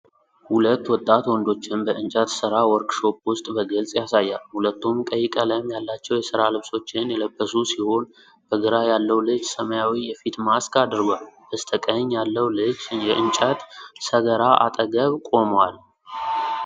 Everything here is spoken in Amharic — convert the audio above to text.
ሁለት ወጣት ወንዶችን በእንጨት ሥራ ዎርክሾፕ ውስጥ በግልጽ ያሳያል። ሁለቱም ቀይ ቀለም ያላቸው የሥራ ልብሶችን የለበሱ ሲሆን፤ በግራ ያለው ልጅ ሰማያዊ የፊት ማስክ አድርጓል። በስተቀኝ ያለው ልጅ የእንጨት ሰገራ አጠገብ ቆሟል።